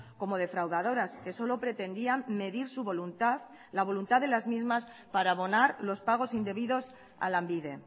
como defraudadoras que solo pretendían medir su voluntad la voluntad de las mismas para abonar los pagos indebidos a lanbide